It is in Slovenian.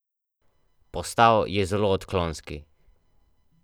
Postal je zelo odklonski.